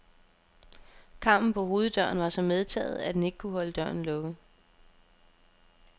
Karmen på hoveddøren var så medtaget, at den ikke kunne holde døren lukket.